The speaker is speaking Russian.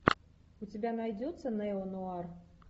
у тебя найдется неонуар